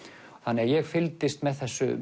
ég fylgdist með þessu